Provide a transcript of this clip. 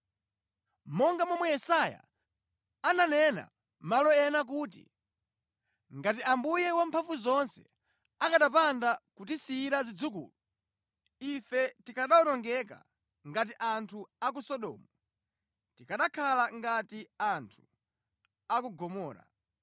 Monga momwe Yesaya ananena malo ena kuti, “Ngati Yehova Wamphamvuzonse akanapanda kutisiyira zidzukulu, ife tikanawonongeka ngati anthu a ku Sodomu, tikanakhala ngati anthu a ku Gomora.”